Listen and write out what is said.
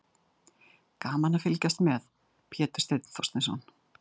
Gaman að fylgjast með: Pétur Steinn Þorsteinsson.